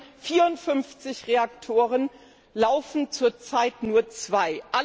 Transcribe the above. Von den vierundfünfzig Reaktoren laufen zur Zeit nur zwei.